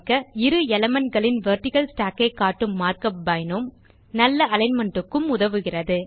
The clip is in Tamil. இரு elementகளின் வெர்டிக்கல் ஸ்டாக் ஐ காட்டும் மார்க் உப் பினோம் நல்ல அலிக்ன்மென்ட் க்கும் உதவுகிறது